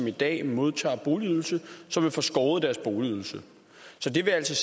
i dag modtager boligydelse som vil få skåret i deres boligydelse så det vil altså